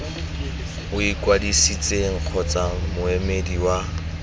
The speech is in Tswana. o ikwadisitseng kgotsa moemedi wa